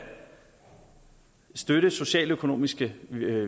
støtte socialøkonomiske